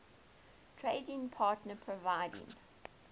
trading partner providing